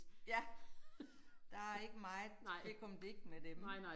Ja. Der ikke meget fikumdik med dem